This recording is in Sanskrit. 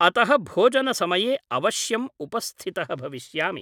अतः भोजनसमये अवश्यम् उपस्थितः भविष्यामि ।